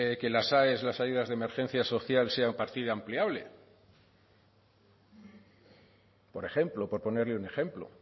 que las aes las ayudas de emergencia social sean partida ampliable por ejemplo por ponerle un ejemplo